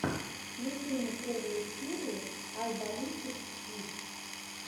включи мне первую серию ай баллистик сквид